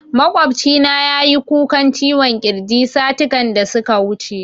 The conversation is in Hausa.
Maƙwabcina ya yi kukan ciwon kirji satikan da suka wuce